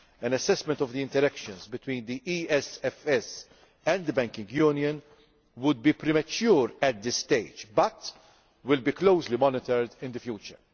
An assessment of the interaction between the ESFS and the banking union would be premature at this stage, but this aspect will be closely monitored in the future.